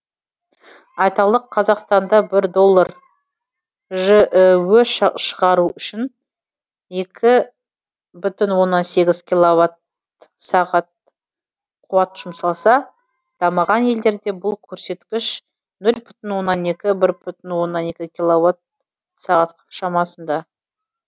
айталық қазақстанда бір доллар жіө шығару үшін екі бүтін оннан сегіз киловатт сағат қуат жұмсалса дамыған елдерде бұл көрсеткіш нөл бүтін оннан екі бір бүтін оннан екі киловатт сағат шамасында